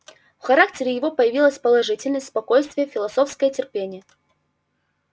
в характере его появились положительность спокойствие философское терпение